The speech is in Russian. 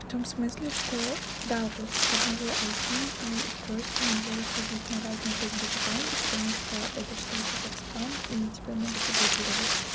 в том смысле что да вот с одного айпи и устройства нельзя заходить на разные фейсбук аккаунты потому что это считается как спам и тебя могут заблокировать